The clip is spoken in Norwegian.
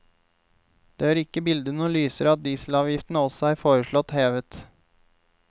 Det gjør ikke bildet noe lysere at dieselavgiftene også er foreslått hevet.